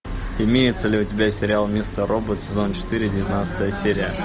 имеется ли у тебя сериал мистер робот сезон четыре девятнадцатая серия